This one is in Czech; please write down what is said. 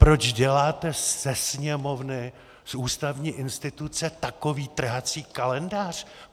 Proč děláte ze Sněmovny, z ústavní instituce, takový trhací kalendář?